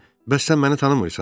Bəs sən məni tanımırsan?